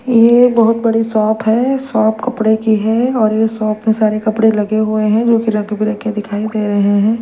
ये बहोत बड़ी शॉप है शॉप कपड़े की है और ये शॉप में सारे कपड़े लगे हुए हैं जो रंग बिरंगे कपड़े के दिखाई दे रहे हैं।